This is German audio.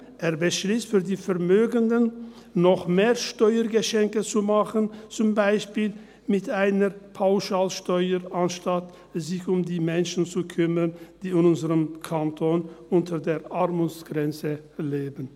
– Er beschliesst, den Vermögenden noch mehr Steuergeschenke zu machen, zum Beispiel mit einer Pauschalsteuer, anstatt sich um die Menschen zu kümmern, die in unserem Kanton unter der Armutsgrenze leben.